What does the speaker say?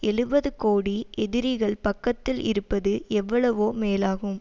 எழுபது கோடி எதிரிகள் பக்கத்தில் இருப்பது எவ்வளவோ மேலாகும்